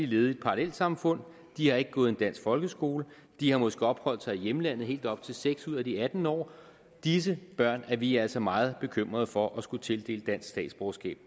levet i et parallelsamfund de har ikke gået i en dansk folkeskole og de har måske opholdt sig i hjemlandet i helt op til seks år ud af de atten år disse børn er vi altså meget bekymret for at skulle tildele dansk statsborgerskab